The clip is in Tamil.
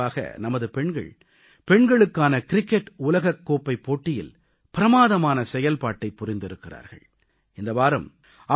கடந்த சில நாட்கள் முன்பாக நமது பெண்கள் பெண்களுக்கான க்ரிக்கெட் உலகக் கோப்பைப் போட்டியில் பிரமாதமான செயல்பாட்டைப் புரிந்திருக்கிறார்கள்